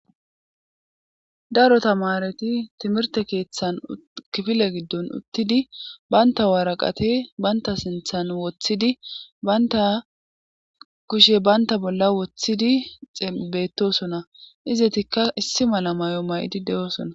Darota maareti timirte keeththan kifile giddon uttidi baynta waaraqate baynta sinthan woththidi baynta kushe baynta bolla woththidi xibetosona izetikka issi mala may'o may'idi de'oosona.